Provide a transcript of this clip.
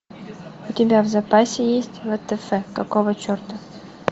у тебя в запасе есть втф какого черта